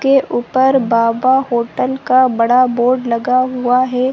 --के ऊपर बाबा होटल का बड़ा बोर्ड लगा हुआ है।